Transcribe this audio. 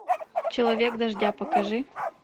человек дождя покажи